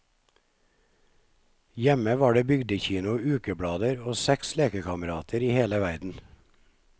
Hjemme var det bygdekino og ukeblader, og seks lekekamerater i hele verden.